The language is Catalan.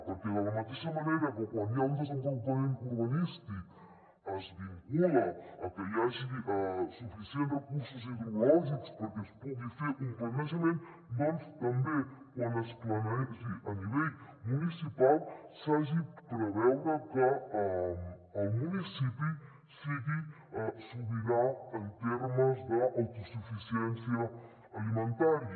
perquè de la mateixa manera que quan hi ha un desenvolupament urbanístic es vincula a que hi hagi suficients recursos hidrològics perquè es pugui fer un planejament doncs que també quan es planegi a nivell municipal s’hagi de preveure que el municipi sigui sobirà en termes d’autosuficiència alimentària